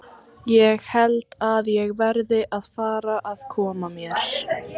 Ég held að ég verði að fara að koma mér.